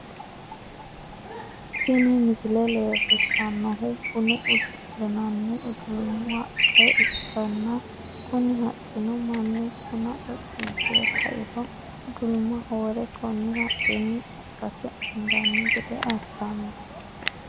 Tini misile leellishshannohu buna udu'linanni udulumu haqqa ikkanna, kuni haqqino mannu buna xoxxisi're ka'iro udulumaho wore konni haqqinni qaqqase anganni gede assanno.